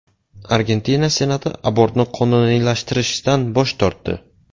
Argentina Senati abortni qonuniylashtirishdan bosh tortdi.